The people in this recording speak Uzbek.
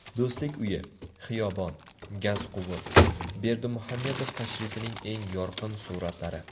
Do‘stlik uyi, xiyobon, gazquvur: Berdimuhamedov tashrifining eng yorqin suratlari .